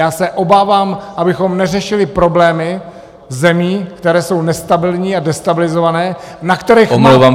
Já se obávám, abychom neřešili problémy zemí, které jsou nestabilní a destabilizované, na kterých nemám podíl!